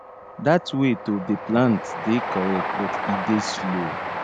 dat way to dey plant dey correct but e dey slow